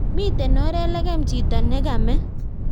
Miten oret lekem chito nekame